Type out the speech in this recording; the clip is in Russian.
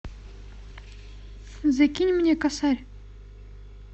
закинь мне косарь